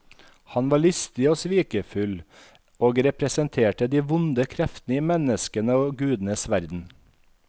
Han var listig og svikefull og representerte de vonde kreftene i menneskenes og gudenes verden.